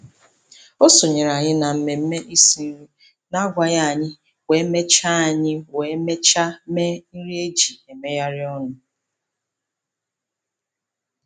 O sonyeere anyị na mmemme isi nri na-agwaghị anyị wee mechaa anyị wee mechaa mee nri e ji emegharị ọnụ.